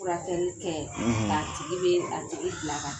Furakɛli kɛ; ka tigi bɛ a tigi bila ka taa